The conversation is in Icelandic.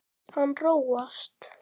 Hann róast.